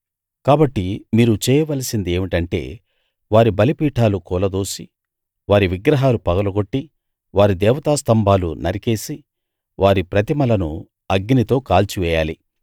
కాబట్టి మీరు చేయవలసింది ఏమిటంటే వారి బలిపీఠాలు కూలదోసి వారి విగ్రహాలు పగలగొట్టి వారి దేవతా స్తంభాలు నరికేసి వారి ప్రతిమలను అగ్నితో కాల్చివేయాలి